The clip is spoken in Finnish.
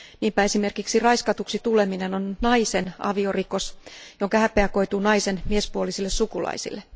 Niinpä esimerkiksi raiskatuksi tuleminen on naisen aviorikos, jonka häpeä koituu naisen miespuolisille sukulaisille.